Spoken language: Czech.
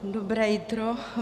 Dobré jitro.